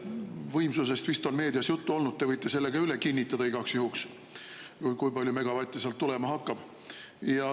Võimsusest vist on meedias juttu olnud, te võite selle ka üle kinnitada igaks juhuks, kui palju megavatte sealt tulema hakkab.